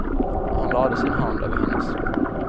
Han lade sin hand över hennes.